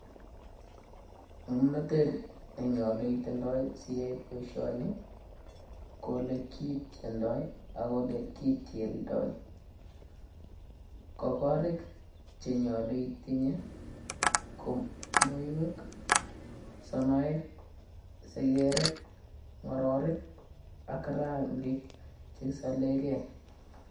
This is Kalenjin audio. Ng'omnatet nenyaluu itindoii siyai boishoni ko olekitiendoi ak olekitieldoi. Ko koriik che nyaluu itinyei ko muiweek sonaek segerek ng'ororik ak rangik che kisalegei.